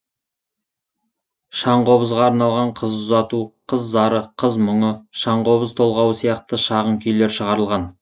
шаңқобызға арналған қыз ұзату қыз зары қыз мұңы шаңқобыз толғауы сияқты шағын күйлер шығарылған